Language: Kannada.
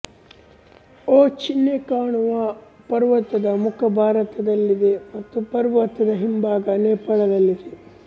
ಓಂ ಚಿಹ್ನೆ ಕಾಣುವ ಪರ್ವತದ ಮುಖ ಭಾರತದಲ್ಲಿದೆ ಮತ್ತು ಪರ್ವತದ ಹಿಂಭಾಗ ನೇಪಾಳದಲ್ಲಿದೆ